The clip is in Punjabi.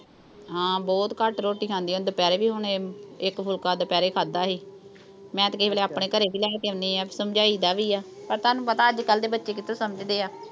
ਹਾਂ ਬਹੁਤ ਘੱਟ ਰੋਟੀ ਖਾਂਦੀ ਆ। ਦੁਪਿਹਰੇ ਵੀ ਹੁਣ, ਇੱਕ ਫੁਲਕਾ ਦੁਪਿਹਰੇ ਖਾਧਾ ਸੀ। ਮੈਂ ਤੇ ਕਈ ਵਾਰ ਆਪਣੇ ਘਰੇ ਵੀ ਲੈ ਕੇ ਆਉਣੀ ਆਂ। ਸਮਝਾਈ ਦਾ ਵੀ ਆ। ਤੇ ਤੁਹਾਨੂੰ ਪਤਾ ਅੱਜ-ਕੱਲ੍ਹ ਦੇ ਬੱਚੇ ਕਿੱਥੇ ਸਮਝਦੇ ਆ।